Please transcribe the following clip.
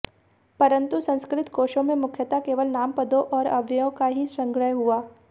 परंतु संस्कृत कोशों में मुख्यतः केवल नामपदों और अव्ययों का ही संग्रह हुआ